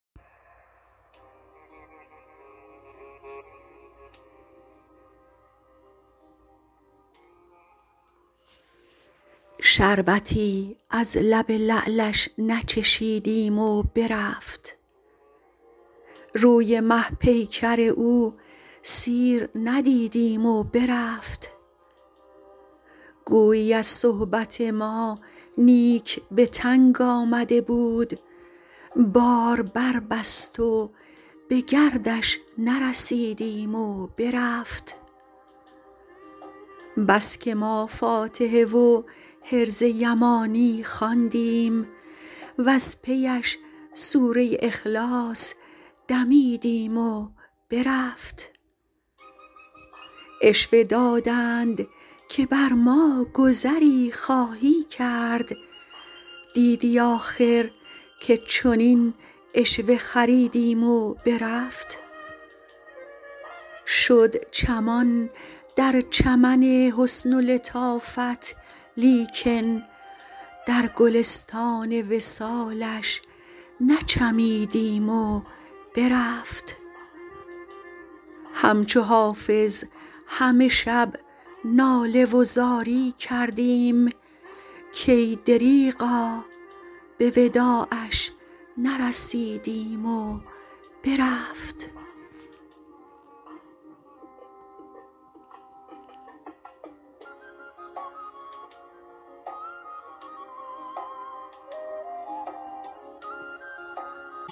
شربتی از لب لعلش نچشیدیم و برفت روی مه پیکر او سیر ندیدیم و برفت گویی از صحبت ما نیک به تنگ آمده بود بار بربست و به گردش نرسیدیم و برفت بس که ما فاتحه و حرز یمانی خواندیم وز پی اش سوره اخلاص دمیدیم و برفت عشوه دادند که بر ما گذری خواهی کرد دیدی آخر که چنین عشوه خریدیم و برفت شد چمان در چمن حسن و لطافت لیکن در گلستان وصالش نچمیدیم و برفت همچو حافظ همه شب ناله و زاری کردیم کای دریغا به وداعش نرسیدیم و برفت